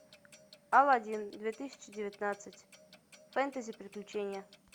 аладдин две тысячи девятнадцать фэнтези приключения